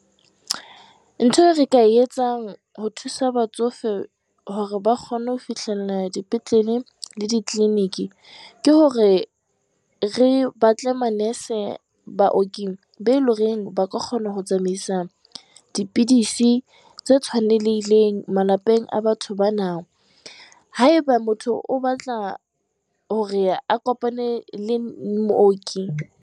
Ntho re ka etsang ho thusa batsofe hore ba kgone ho fihlella dipetlele le di-clinic, ke hore re batle Manese-Baoki be o e leng ho re ba ka kgona ho tsamaisa dipidisi tse tshwanelehileng malapeng a batho ba nana. Haeba motho o batla hore a kopane le Mooki.